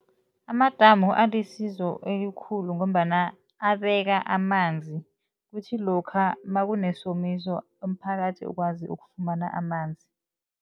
Amadamu alisizo elikhulu ngombana abeka amanzi kuthi lokha makunesomiso umphakathi ukwazi ukufumana amanzi.